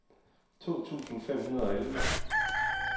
to tusind fem hundrede og elleve